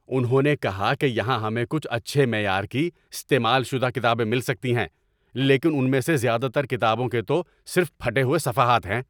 انہوں نے کہا کہ یہاں ہمیں کچھ اچھے معیار کی، استعمال شدہ کتابیں مل سکتی ہیں لیکن ان میں سے زیادہ تر کتابوں کے تو صرف پھٹے ہوئے صفحات ہیں۔